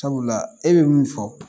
Sabula e bɛ mun fɔ